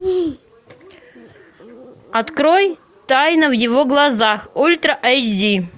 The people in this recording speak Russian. открой тайна в его глазах ультра айч ди